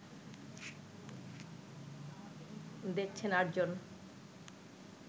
দেখছেন ৮ জন